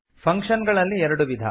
function ಗಳಲ್ಲಿ ಎರಡು ವಿಧ